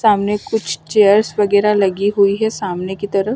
सामने कुछ चेयर्स वगैरह लगी हुई है सामने की तरफ --